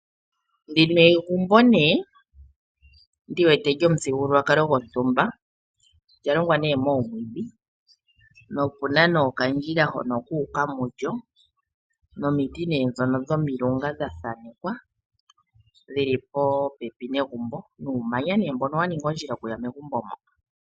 Ndino egumbo nee ndiwete lyomuthigululwakalo gwontumba, olya longwa nee nomwiidhi Po opena okandjila hono kuuka mulyo nomiti dhono dhomilunga dha thanekwa dhili popepi negumbo nuumanya nee mbono wa ninga ondjila okuya megumbo mo.